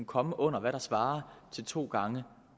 komme under hvad der svarer til to gange